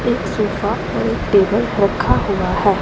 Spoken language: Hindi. एक सोफा और एक टेबल रखा हुआ है।